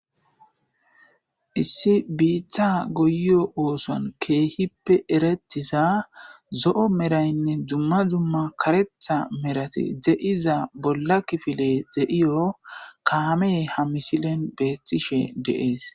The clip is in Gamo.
issi biitha goyo ooson keehippe erettiza zo7o meraynne dzumma zumma karetha merati de7iza bolla kifile de7iyo kaame ha misilen beethtishe de7ees